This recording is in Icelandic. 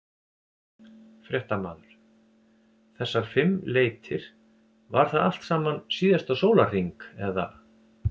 Fréttamaður: Þessar fimm leitir, var það allt saman síðasta sólarhring eða?